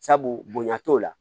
Sabu bonya t'o la